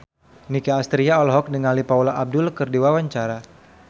Nicky Astria olohok ningali Paula Abdul keur diwawancara